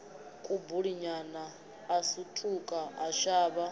kubulinyana a sutuka a shavha